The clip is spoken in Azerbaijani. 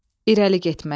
İləri getmək.